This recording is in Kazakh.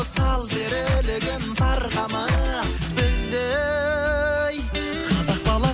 сал серілігін сарқама біздей қазақ